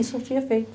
E surtia feito.